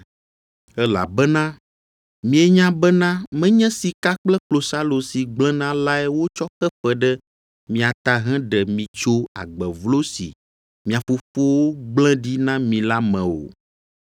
Elabena mienya bena menye sika kple klosalo si gblẽna lae wotsɔ xe fe ɖe mia ta heɖe mi tso agbe vlo si mia fofowo gblẽ ɖi na mi la me o,